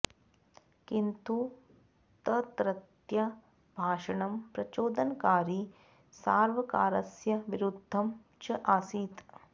किन्तु तत्रत्य भाषणं प्रचोदनकारी सार्वकारस्य विरुद्धं च आसित्